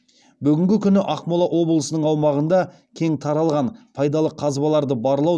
бүгінгі күні ақмола облысының аумағында кең таралған пайдалы қазбаларды барлау